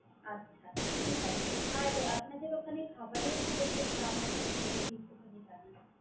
আচ্ছা! ঠিক আছে। আর আপনাদের ওখানে খাবারের কিরকম দাম আছে ওটা যদি একটুখানি জানান।